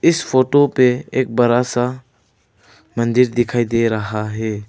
इस फोटो पे एक बड़ा सा मंदिर दिखाई दे रहा है।